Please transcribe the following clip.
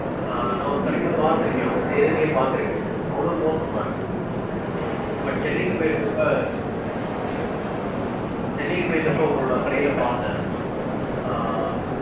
ஆஹ் நா ஒரு கடைல பாத்திருக்கேன். அவங்க செய்றதே பாத்திருக்கேன். அவ்ளோ மோசமா இருக்கும். சென்னைக்கு போயிருந்தப்போ ஹம் சென்னைக்கு போயிருந்தப்போ உங்களோட கடைல பாத்தேன் ஆஹ்